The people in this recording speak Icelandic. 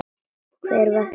Hver var þessi draumur þinn?